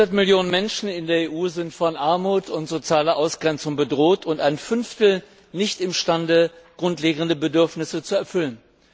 Hundert Millionen Menschen in der EU sind von Armut und sozialer Ausgrenzung bedroht, und ein Fünftel ist nicht imstande, grundlegende Bedürfnisse zu erfüllen.